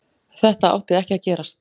Þetta átti ekki að gerast.